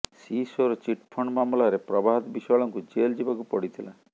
ସିସୋର୍ chit fund ମାମଲାରେ ପ୍ରଭାତ ବିଶ୍ୱାଳଙ୍କୁ jail ଯିବାକୁ ପଡ଼ିଥିଲା